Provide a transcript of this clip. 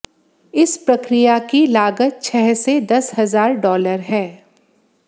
इस प्रक्रिया की लागत छह से दस हजार डॉलर है